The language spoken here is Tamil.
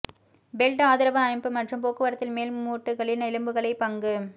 பெல்ட் ஆதரவு அமைப்பு மற்றும் போக்குவரத்தில் மேல் மூட்டுகளில் எலும்புகளை பங்கு